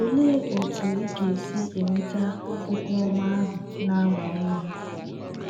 Olee otú ị ga - esi enweta “ okwu ọma ” ahụ na - agba ume?